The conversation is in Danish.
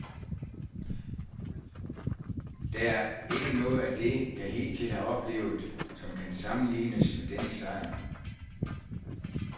Der er ikke noget af det, jeg hidtil har oplevet, som kan sammenlignes med denne sejr.